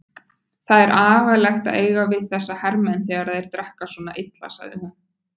Það er agalegt að eiga við þessa hermenn þegar þeir drekka svona illa, sagði hún.